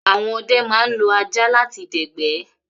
Àwọn ọdẹ ma ń lo ajá láti dẹ̀gbẹ́